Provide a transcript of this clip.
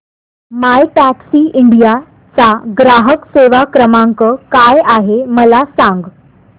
My Taxi India चा ग्राहक सेवा क्रमांक काय आहे मला सांग